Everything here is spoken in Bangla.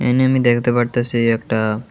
এহানে আমি দেখতে পারতাসি একটা--